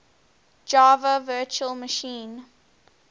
java virtual machine